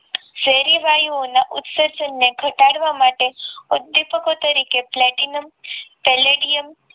શહેરી વાયુઓના ઉત્સર્જન ને ઘટાડવા માટે ઉદ્દીપકો તરીકે પ્લેટિનમ પેલેડિયમ